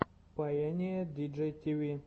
пайэниэ диджей тиви